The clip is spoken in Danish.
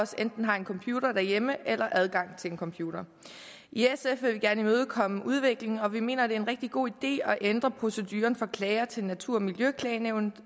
os enten har en computer derhjemme eller adgang til en computer i sf vil vi gerne imødekomme udviklingen og vi mener det er en rigtig god idé at ændre proceduren for klager til natur og miljøklagenævnet